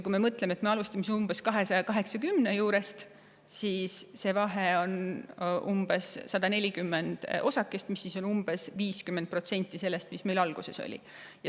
Kui me alustame umbes 280 juurest, siis vahe on umbes 140 osakest, mis on 50% sellest, mis alguses oli.